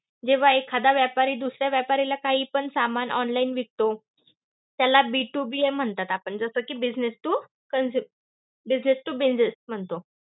जेव्हा एखादा व्यापारी दुसऱ्या व्यापाऱ्याला काही पण सामान online विकतो. त्याला B to B म्हणता जसं कि business to consu~ business to business म्हणतो.